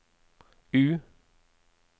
U